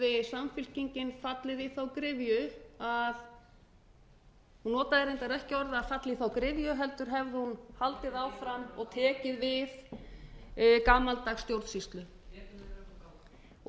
samfylkingin fallið í þá gryfju að hún notaði reyndar ekki orðin að falla í þá gryfju heldur hefði hún haldið áfram og tekið við gamaldags stjórnsýslu og